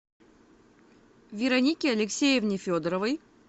веронике алексеевне федоровой